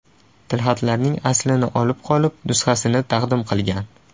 tilxatlarning aslini olib qolib, nusxasini taqdim qilgan.